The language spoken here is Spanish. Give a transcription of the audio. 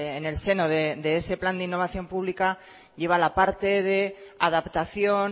en el seno de ese plan de innovación pública lleva la parte de adaptación